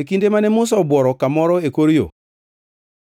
E kinde mane Musa obuoro kamoro e kor yo,